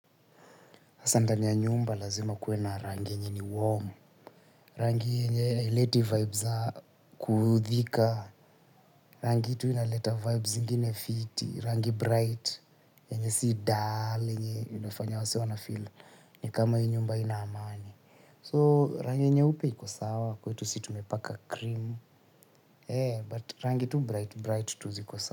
Hasa ndani ya nyumba lazima kuwe na rangi yenye ni warm. Rangi yenye haileti vibes kuudhika, rangi tu inaleta vibes zingine fiti, rangi bright, yenye si dull, inafanya wasee wanafeel ni kama yu nyumba haina amani. So rangi nyeupe iko sawa, kwetu sisi tumepaka cream, yeah but rangi tu bright, bright tu ziko sawa.